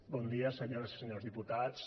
bon dia senyores i senyors diputats